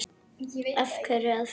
Af hverju að fela það?